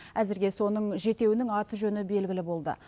әзірге соның жетеуінің аты жөні белгілі болды